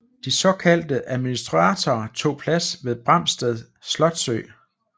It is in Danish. De såkaldte administratorer tog plads på Barmstedt slotsø